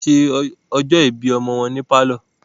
wọ́n se ọjọ́ ìbí ọmọ wọn ní pálọ̀.